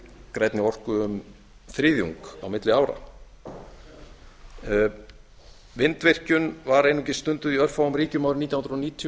grænni orku um þriðjung á milli ára vindvirkjun var einungis stunduð í örfáum ríkjum árið nítján hundruð níutíu